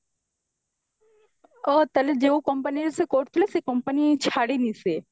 ଓଃହୋ ତାହେଲେ ଯୋଉ Company ରେ ସେ କରୁଥିଲା ସେଇ company ଛାଡିନି ସିଏ